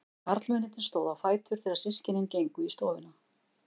Karlmennirnir stóðu á fætur þegar systkinin gengu í stofuna.